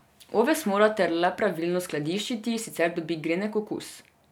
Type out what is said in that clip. Oves morate le pravilno skladiščiti, sicer dobi grenek okus.